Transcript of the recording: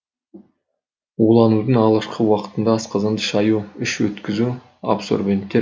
уланудың алғашқы уақытында асқазанды шаю іш өткізу абсорбенттер ішкізу